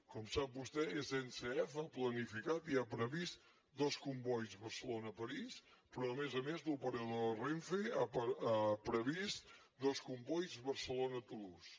com sap vostè sncf ha planificat i ha previst dos combois barcelona parís però a més a més l’operador de renfe ha previst dos combois barcelona toulouse